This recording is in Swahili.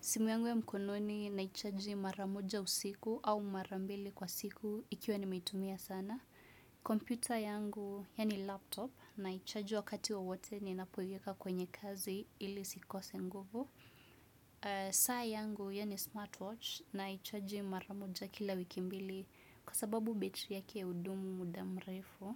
Simu yangu ya mkononi naicharge maramoja usiku au marambili kwa siku ikiwa nimeitumia sana. Computer yangu ya ni laptop naicharge wakati wowote ninapoiweka kwenye kazi ili isikose nguvu. Saa yangu yaani smartwatch naicharge maramoja kila wiki mbili kwa sababu betri yake hudumu muda mrefu.